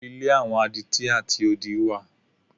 Ilé àwọn adití àti odí wà.